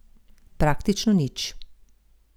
Praktično nič.